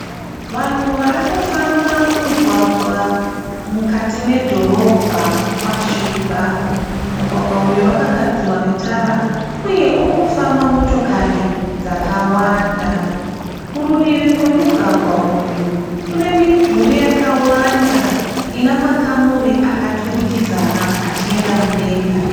Vanhu varikufamba mumugwaga mukati medhorobha kwasviba. Mugwagwa uyu wakagadzirwa netara uye urikufamba motokari dzakawanda. Kurudivi kwemugwagwa uyu kune midhuri yakawanda ina makamuri akaturikidzana achienda mudenga.